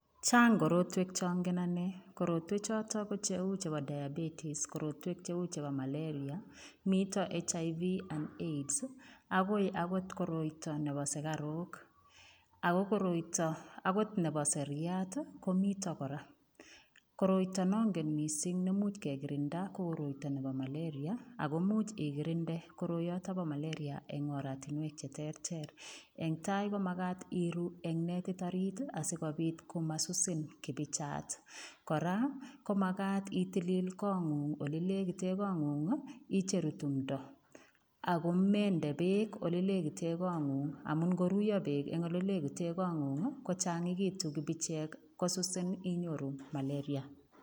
Chang' korotwek changen ane. Korotwechotok ko cheu chebo malaria, mito HIV and AIDS, akoi akot koroito nebo sikaruk. Ako koroito akot nebo seriat komito kora. koroito. Koroita nongen mising nemuch kekirinda ko koroito nebo malaria, ako much ikirinde koroiyotok bo malaria eng oratinwek che terter. engtai komakat iru eng netit orit asikobit komasusin kipichat. Kora komakat itilil koong'ung' ole legite koong'ung' icheru timto. Akomende beek olelekite koong'ung, amun ng'oruiyo beek eng olelekite koong'ung kochang'ekitu kipichek kosusin, inyoru malaria.